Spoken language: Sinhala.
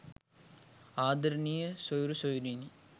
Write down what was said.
ආදරණීය සොයුරු සොයුරියනි